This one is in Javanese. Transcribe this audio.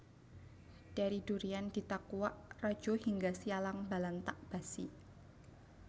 Dari Durian Ditakuak Rajohingga Sialang Balantak Basi